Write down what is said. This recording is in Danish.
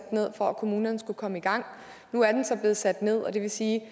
ned for at kommunerne skulle komme i gang nu er den så blevet sat ned og det vil sige